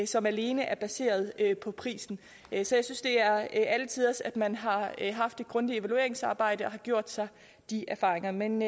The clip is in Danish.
som alene er baseret på prisen så jeg synes det er alle tiders at man har haft et grundigt evalueringsarbejde og har gjort sig de erfaringer men